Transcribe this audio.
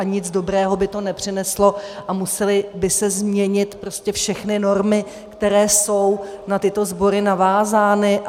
A nic dobrého by to nepřineslo a musely by se změnit prostě všechny normy, které jsou na tyto sbory navázány.